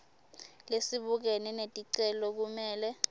lesibukene neticelo kumele